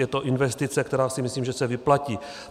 Je to investice, která si myslím, že se vyplatí.